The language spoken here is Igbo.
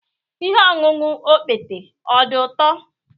Ihe ọṅụṅụ okpete ọ dị ụtọ?